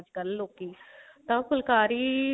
ਅੱਜਕਲ ਲੋਕੀ ਤਾਂ ਫੁਲਕਾਰੀ